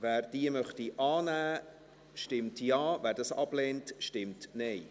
Wer diese annehmen möchte, stimmt Ja, wer diese ablehnt, stimmt Nein.